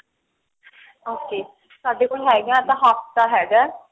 okay ਸਾਡੇ ਕੋਲ ਹੈਗਾ ਏਵੇਂ ਤਾਂ ਹਫਤਾ ਹੈਗਾ